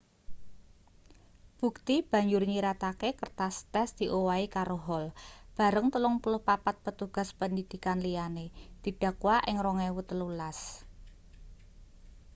bukti banjur nyiratake kertas tes diowahi karo hall bareng 34 petugas pendidikan liyane didakwa ing 2013